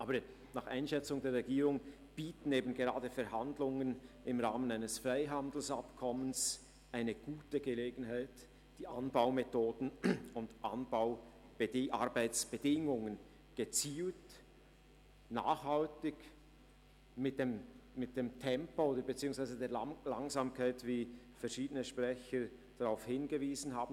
Aber nach Einschätzung der Regierung bieten eben gerade Verhandlungen im Rahmen eines Freihandelsabkommens eine gute Gelegenheit, die Anbaumethoden und Arbeitsbedingungen gezielt und nachhaltig zu verbessern, zwar mit dem Tempo beziehungsweise der Langsamkeit, auf welche verschiedene Sprecher hingewiesen haben.